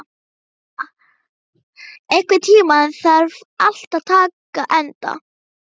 Tanya, einhvern tímann þarf allt að taka enda.